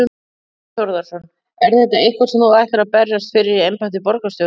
Þorbjörn Þórðarson: Er þetta eitthvað sem þú ætlar að berjast fyrir í embætti borgarstjóra?